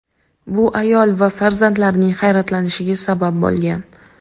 Bu ayol va farzandlarining hayratlanishiga sabab bo‘lgan.